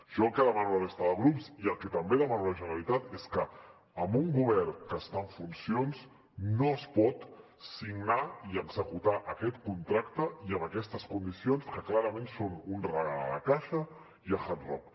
jo el que demano a la resta de grups i el que també demano a la generalitat és que amb un govern que està en funcions no es pot signar i executar aquest contracte i amb aquestes condicions que clarament són un regal a la caixa i a hard rock